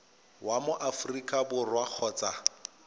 wa mo aforika borwa kgotsa